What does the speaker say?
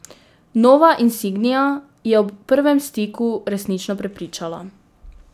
Nova insignia je ob prvem stiku resnično prepričala.